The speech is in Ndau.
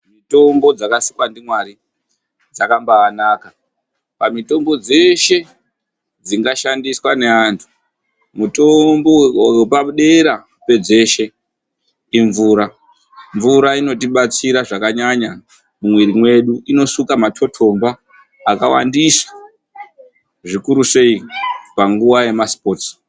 Mitombo dzakasikwa ndiMwari dzakambaanaka. Pamitombo dzeshe dzingashandiswa neantu, mutombo wepadera pedzeshe imvura. Mvura inoti batsera zvakanyanya mumwiri medu, inosuka matotomba akawandisa zvikuru sei panguwa yemasipotsi.